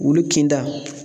Wulu kinda